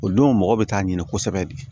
O don mɔgɔ bɛ taa ɲini kosɛbɛ de